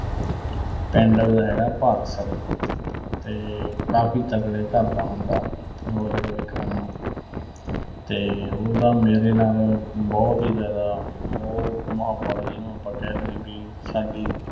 ਪਿੰਡ ਉਹਦਾ ਹੈਗਾ ਭਾਗਸਰ ਤੇ ਕਾਫ਼ੀ ਤਕੜੇ ਘਰ ਦਾ ਮੁੰਡਾ ਉਹ ਜਿਹੜਾ ਵਿਕਰਮ ਆ ਤੇ ਉਹਦੀ ਨਾ ਮੇਰੇ ਨਾਲ ਬਹੁਤ ਹੀ ਜ਼ਿਆਦਾ ਮੋਹ, ਮੁਹੱਬਤ ਜੀਹਨੂੰ ਆਪਾਂ ਕਹਿ ਦੀਏ ਵੀ ਸਾਡੀ